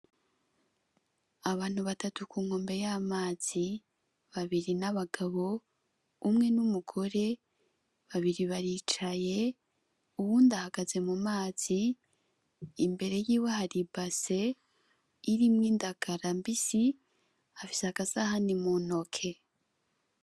Abantu batatu ku nkombe y'amazi, babiri ni abagabo, umwe ni umugore, babiri baricaye uwundi ahagaze mu mazi, imbere yiwe hari ibase irimwo indagala mbisi, afise agasahani mu ntoke.